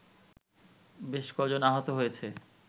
বেশ ক’জন আহত হয়েছে